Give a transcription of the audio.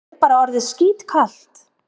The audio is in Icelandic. Mér er bara orðið skítkalt.